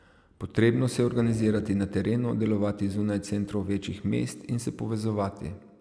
Potrebno se je organizirati na terenu, delovati zunaj centrov večjih mest in se povezovati.